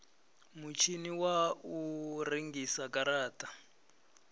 mutshini wa u rengisa garata